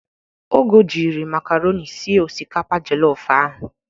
Ogo jịrị makaroni sie osikapa jollof ahụ